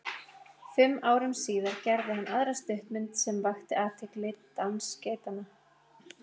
Fimm árum síðar gerði hann aðra stuttmynd sem vakti athygli, Dans geitanna.